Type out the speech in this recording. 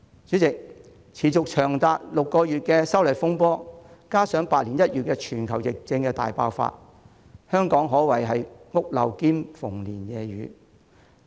主席，歷時長達6個月的修例風波，加上百年一遇的全球疫症大爆發，香港可謂"屋漏兼逢連夜雨"。